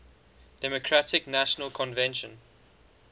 democratic national convention